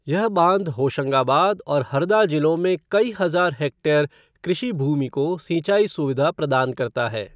यह बांध होशंगाबाद और हरदा जिलों में कई हजार हेक्टेयर कृषि भूमि को सिंचाई सुविधा प्रदान करता है।